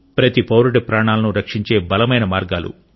ప్రతి పౌరుడి ప్రాణాలను రక్షించే బలమైన మార్గాలు